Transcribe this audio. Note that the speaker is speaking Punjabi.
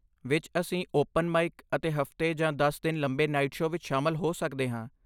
ਵਿਚ, ਅਸੀਂ ਓਪਨ ਮਾਈਕ ਅਤੇ ਹਫ਼ਤੇ ਜਾਂ ਦਸ ਦਿਨ ਲੰਬੇ ਨਾਈਟ ਸ਼ੋਅ ਵਿੱਚ ਸ਼ਾਮਲ ਹੋ ਸਕਦੇ ਹਾਂ